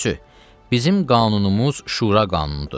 Üçüncüsü, bizim qanunumuz Şura qanunudur.